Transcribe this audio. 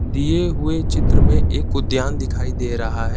दिए हुए चित्र में एक उद्द्यान दिखाई दे रहा है।